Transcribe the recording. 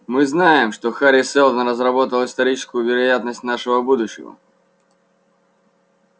мы знаем что хари сэлдон разработал историческую вероятность нашего будущего